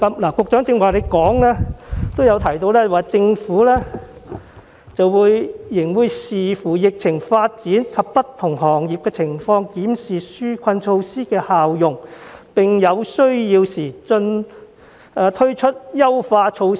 局長剛才在主體答覆中指出，"政府仍會視乎疫情發展及不同行業的情況檢視紓困措施的效用，並在有需要時推出優化措施"。